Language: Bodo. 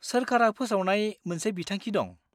सोरखारा फोसावनाय मोनसे बिथांखि दं।